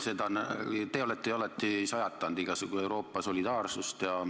Te olete ju alati sajatanud igasugu Euroopa solidaarsust.